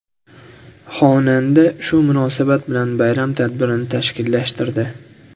Xonanda shu munosabat bilan bayram tadbirini tashkillashtirdi.